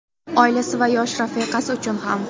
Oilasi va yosh rafiqasi uchun ham.